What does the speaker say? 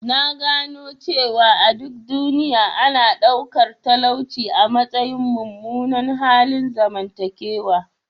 Na gano cewa a duk duniya, ana ɗaukar talauci a matsayin mummunan halin zamantakewa.